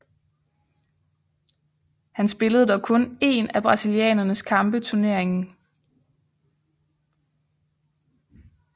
Han spillede dog kun én af brasilianernes kampe turneringen